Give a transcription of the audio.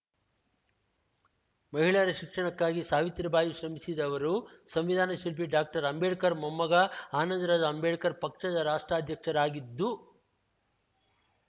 ಮಹಿಳೆಯರ ಶಿಕ್ಷಣಕ್ಕಾಗಿ ಸಾವಿತ್ರಿಬಾಯಿ ಶ್ರಮಿಸಿದವರು ಸಂವಿಧಾನ ಶಿಲ್ಪಿ ಡಾಕ್ಟರ್ ಅಂಬೇಡ್ಕರ್‌ ಮೊಮ್ಮಗ ಆನಂದರಾಜ ಅಂಬೇಡ್ಕರ್‌ ಪಕ್ಷದ ರಾಷ್ಟ್ರಾಧ್ಯಕ್ಷರಾಗಿದ್ದು